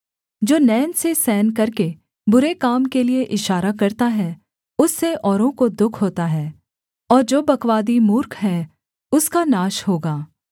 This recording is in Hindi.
जो नैन से सैन करके बुरे काम के लिए इशारा करता है उससे औरों को दुःख होता है और जो बकवादी मूर्ख है उसका नाश होगा